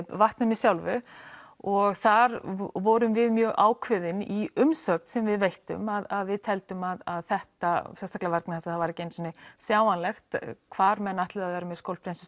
vatninu sjálfu og þar vorum við mjög ákveðin í umsögn sem við veittum að við teldum að þetta sérstaklega vegna þess að það var ekki einu sinni sjáanlegt hvar menn ætluðu að vera með